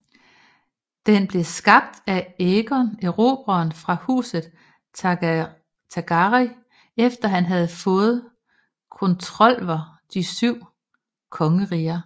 Den blev skabt af Aegon Erobreren fra Huset Targaryen efter han havet fået kontrolver De Syv Kongeriger